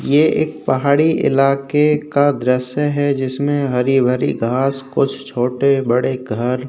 ये एक पहाड़ी इलाके का दृश्य है जिसमें हरी भरी घास कुछ छोटे-बड़े घर --